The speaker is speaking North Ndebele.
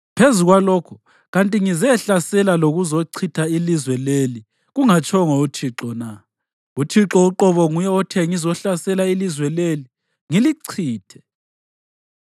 Phezu kwalokho, kanti ngizehlasela lokuzochitha ilizwe leli kungatshongo uThixo na? UThixo uqobo nguye othe ngizohlasela ilizwe leli ngilichithe.’ ”